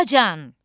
Atacan!